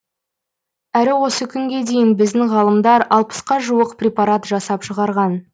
әрі осы күнге дейін біздің ғалымдар алпысқа жуық препарат жасап шығарған